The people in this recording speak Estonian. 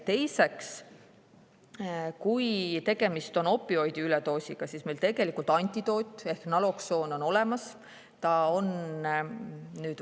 Kui tegemist on opioidi üledoosiga, siis meil tegelikult selle antidoot naloksoon on olemas.